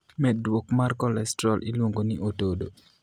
Medruok mar kolestrol iluongo ni otodo.